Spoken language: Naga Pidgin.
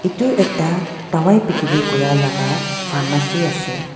itu ekta dawai bikiri kuriyalaga pharmacy ase.